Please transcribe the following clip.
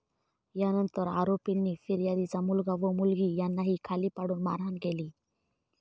यानंतर आरोपींनी फिर्यादीचा मुलगा व मुलगी यांनाही खाली पाडून मारहाण केली.